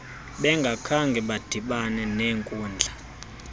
bengakhange badibana nenkudla